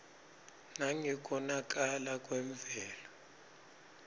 nangekonakala kwemvelo